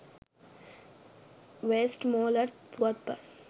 Westmorland පුවත්පත්.